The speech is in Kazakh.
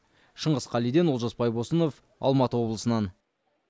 шыңғыс қалиден олжас байбосынов алматы облысынан